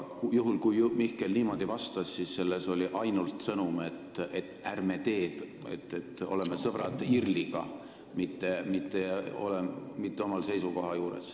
Juhul, kui Mihkel niimoodi vastas, siis selles oli ainult see sõnum, et ärme teeme, oleme sõbrad IRL-iga, mitte ei jää oma seisukoha juurde.